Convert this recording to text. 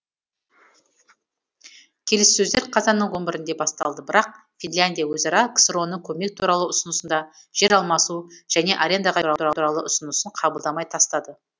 келіссөздер қазанның он біріінде басталды бірақ финляндия өзара ксро ның көмек туралы ұсынысын да жер алмасу және арендаға беру туралы ұсынысын қабылдамай тастады